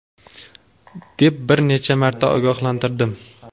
deb bir necha marta ogohlantirdim.